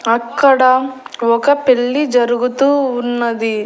అక్కడ ఒక పెళ్ళి జరుగుతూ ఉన్నది.